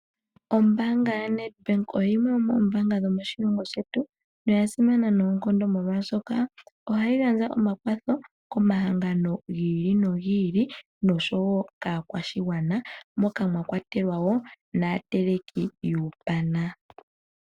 Ombaanga ya Nedbank oyo dhimwe dho moombanga dhomoshilongo shetu oha yi gandja omakwatho komahangano gi ili nogi ili nosho wo kaakwashigwana moka mwakwatelwa woo naateleki yuupana.